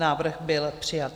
Návrh byl přijat.